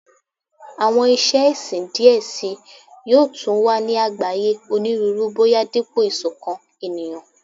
Awọn iṣe ẹsin diẹ sii yoo tun wa ni agbaye Oniruuru boya dipo isokan eniyan